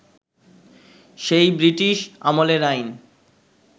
সেই ব্রিটিশ আমলের আইন